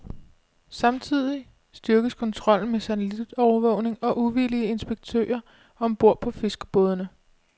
Samtidig styrkes kontrollen med satellitovervågning og uvildige inspektører om bord på fiskerbådene.